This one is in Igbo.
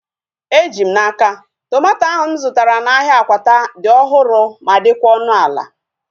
Eji m n'aka, tomato ahu mụ zụtara n'ahia Akwata dị ọhụrụ ma dịkwa ọnụ ala